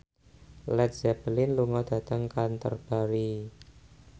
Led Zeppelin lunga dhateng Canterbury